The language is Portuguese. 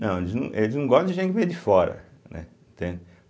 Não, eles não eles não gostam de gente que vem de fora, né, entende.